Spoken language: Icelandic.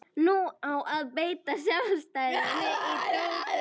Nú á að beita sálfræðinni á dótturina.